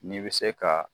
N'i bɛ se ka